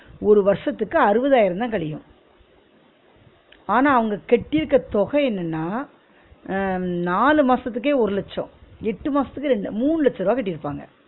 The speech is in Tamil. ஒரு வருஷத்துக்கு அருவதாயிரம் தான் கழியும் ஆனா அவுங்க கட்டி இருக்க தொகை என்னன்னா அஹ் நாலு மாசத்துக்கே ஒரு லட்சோ எட்டு மாசத்துக்கே ரெண்டு ல மூணு லட்ச ருவா கட்டியிருப்பாங்க